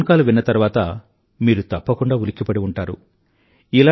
ఈ phone call విన్న తరువాత మీరు తప్పకుండా ఉలిక్కిపడి ఉంటారు